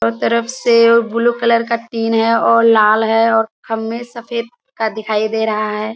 हर तरफ से blue colour का तीन है और लाल है और हमें सफ़ेद का दिखाई दे रहा है।